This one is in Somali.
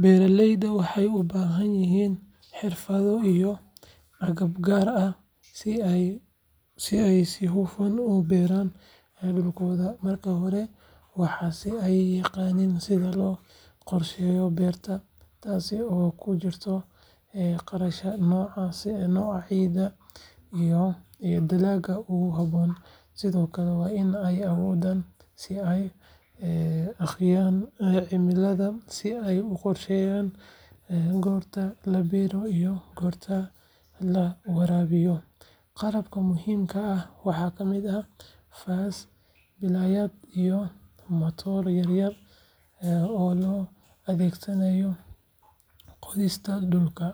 Beeraleyda waxay u baahan yihiin xirfado iyo agab gaar ah si ay si hufan u beeraan dhulkooda. Marka hore, waa in ay yaqaaniin sida loo qorsheeyo beerta, taas oo ay ku jirto garashada nooca ciidda iyo dalagga ugu habboon. Sidoo kale, waa in ay awoodaan in ay akhriyaan cimilada si ay u qorsheeyaan goorta la beero iyo goorta la waraabiyo. Qalabka muhiimka ah waxaa ka mid ah faasas, belayaal, iyo matooro yar yar oo loo adeegsado qodista dhulka.